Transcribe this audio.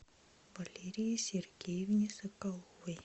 валерии сергеевне соколовой